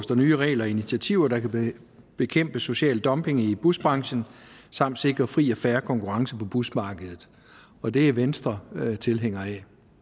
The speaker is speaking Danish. der nye regler og initiativer der kan bekæmpe social dumping i busbranchen samt sikre fri og fair konkurrence på busmarkedet og det er venstre tilhænger af